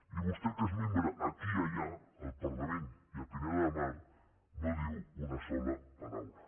i vostè que és membre aquí i allà al parlament i a pineda de mar no en diu una sola paraula